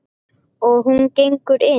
Og hún gengur inn.